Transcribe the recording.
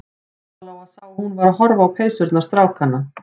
Lóa-Lóa sá að hún var að horfa á peysurnar strákanna.